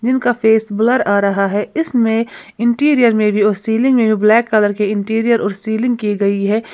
उनका face blur आ रहा है इसमें इंटीरियर में भी सीलिंग में ब्लैक कलर के इंटीरियर और सीलिंग की गई है।